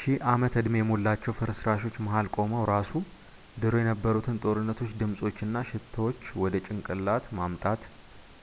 ሺህ ዓመት-ዕድሜ የሞላቸው ፍርስራሾች መሃል ቆመው ራሱ ድሮ የነበሩትን ጦርነቶች ድምፆች እና ሽታዎች ወደ ጭንቅላት ማምጣት